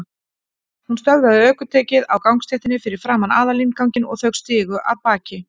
Hún stöðvaði ökutækið á gangstéttinni fyrir framan aðalinnganginn og þau stigu af baki.